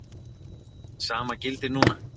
Það sama gildir núna.